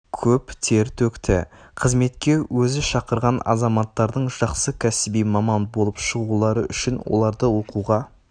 көп тер төкті қызметке өзі шақырған азаматтардың жақсы кәсіби маман болып шығулары үшін оларды оқуға